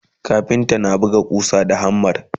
kafinta na buga ƙusa da hammer